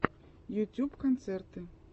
ютюб концерты